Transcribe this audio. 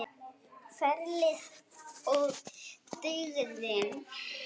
Ferlið og dygðin.